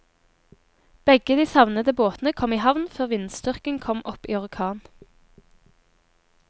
Begge de savnede båtene kom i havn før vindstyrken kom opp i orkan.